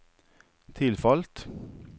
tilfalt